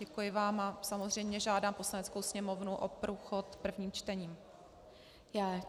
Děkuji vám a samozřejmě žádám Poslaneckou sněmovnu o průchod prvním čtením.